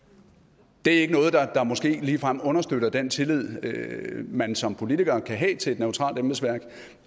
det er måske ikke noget der ligefrem understøtter den tillid man som politiker kan have til et neutralt embedsværk